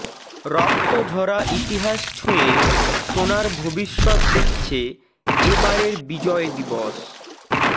রক্ত ঝরা ইতিহাস ছুঁয়ে সোনার ভবিষ্যত্ দেখছে এ বারের বিজয় দিবস